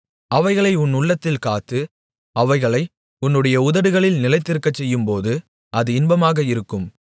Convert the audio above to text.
அவைகளை உன் உள்ளத்தில் காத்து அவைகளை உன்னுடைய உதடுகளில் நிலைத்திருக்கச்செய்யும்போது அது இன்பமாக இருக்கும்